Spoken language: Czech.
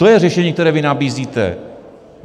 To je řešení, které vy nabízíte.